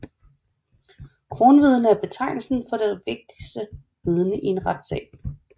Kronvidne er betegnelsen for det vigtigste vidne i en retssag